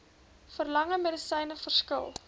verlangde medisyne verskil